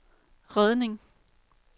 redning